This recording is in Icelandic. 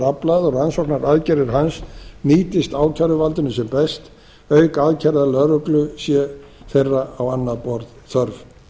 aflað og rannsóknaraðgerðir hans nýtist ákæruvaldinu sem best auk aðgerða lögreglu sé þeirra á annað borð þörf